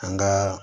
An ka